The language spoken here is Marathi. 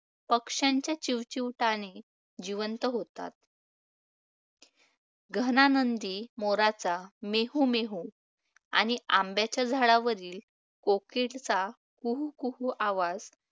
पक्ष्यांच्या चिवचिवाटाने जिवंत होतात. घनानंदी मोराचा ‘मेहु मेहू’, आणि आंब्याच्या झाडावरील कोकिलचा ‘कुहू कुहू’ आवाज